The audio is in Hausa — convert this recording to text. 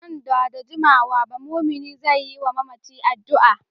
Nan ba da jimawa ba mumini zai yi wa mamacin addu’a.